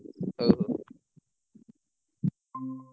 ହଉ ହଉ।